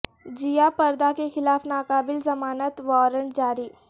جیہ پردا کے خلاف ناقابل ضمانت وارنٹ جاری